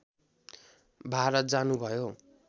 भारत जानुभयो